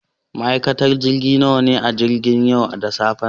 Ma'aikatan jirgi nawa ne a cikin jirgin yau da safen nan?